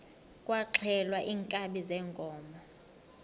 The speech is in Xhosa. kwaxhelwa iinkabi zeenkomo